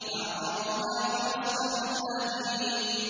فَعَقَرُوهَا فَأَصْبَحُوا نَادِمِينَ